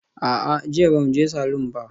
A'a, jiya ba mu je salon ba.